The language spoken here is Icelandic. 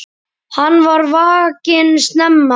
Hann var vakinn snemma.